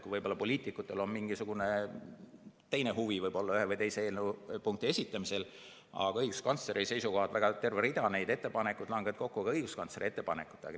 Poliitikutel võib-olla ongi mingisugune teine huvi ühe või teise eelnõupunkti esitamisel, aga terve rida neid ettepanekuid langevad kokku ju õiguskantsleri ettepanekutega.